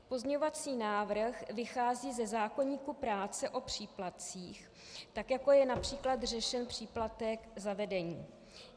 Pozměňovací návrh vychází ze zákoníku práce o příplatcích, tak jako je například řešen příplatek za vedení.